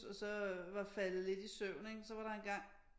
Så så var faldet lidt i søvn ikke så var der engang